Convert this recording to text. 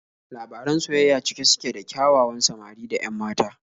Labaran soyayya cike suke da ƙyawawan samari da 'yan mata.